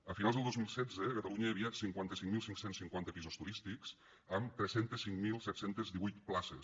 a finals del dos mil setze a catalunya hi havia cinquanta cinc mil cinc cents i cinquanta pisos turístics amb tres cents i cinc mil set cents i divuit places